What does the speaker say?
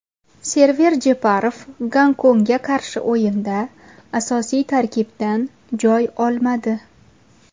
Server Jeparov Gonkongga qarshi o‘yinda asosiy tarkibdan joy olmadi.